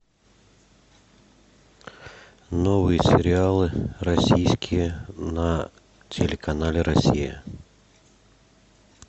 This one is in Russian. новые сериалы российские на телеканале россия